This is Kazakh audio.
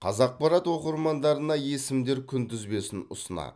қазақпарат оқырмандарына есімдер күнтізбесін ұсынады